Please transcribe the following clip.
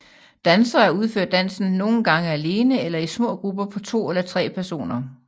Dansere udfører dansen nogen gange alene eller i små grupper på to eller tre personer